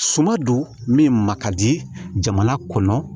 Suma don min ma ka di jamana kɔnɔ